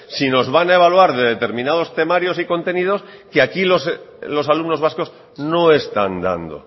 si nos van a evaluar de determinados temarios y contenidos que aquí los alumnos vascos no están dando